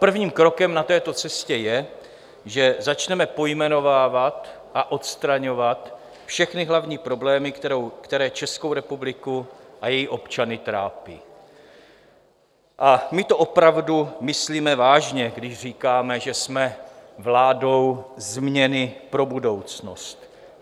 Prvním krokem na této cestě je, že začneme pojmenovávat a odstraňovat všechny hlavní problémy, které Českou republiku a její občany trápí, a my to opravdu myslíme vážně, když říkáme, že jsme vládou změny pro budoucnost.